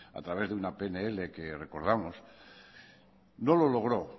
a través de una pnl que recordamos no lo logró